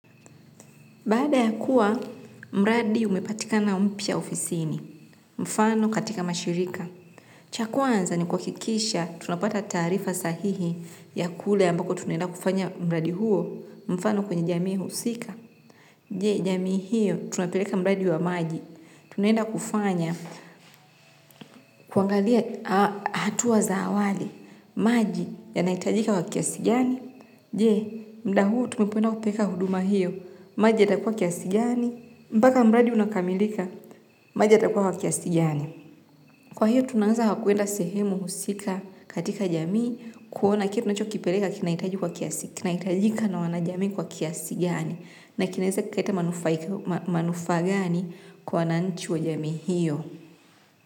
Baada ya kuwa mradi umepatikana mpya ofisini, mfano katika mashirika. Cha kwanza ni kuhakikisha tunapata taarifa sahihi ya kule ambako tunaenda kufanya mradi huo, mfano kwenye jamii husika. Je, jamii hiyo tunapeleka mradi wa maji. Tunaenda kufanya, kuangalia hatua za awali, maji yanahitajika kwa kiasi gani. Je, muda huu tunapoenda kupeleka huduma hiyo, maji yatakuwa kiasi gani, mpaka mradi unakamilika maji yatakuwa kiasi gani kwa hiyo tunaweza kwenda sehemu husika katika jamii kuona kile tunachokipeleka kinahitaji kwa kiasi kinahitajika na wanajamii kwa kiasi gani na kinaweza kikaleta manufaa gani kwa wananchi wa jamii hiyo.